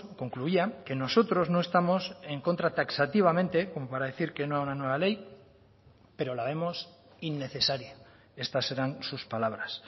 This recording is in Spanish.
concluía que nosotros no estamos en contra taxativamente como para decir que no a una nueva ley pero la vemos innecesaria estas eran sus palabras